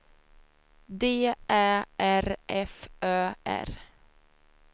D Ä R F Ö R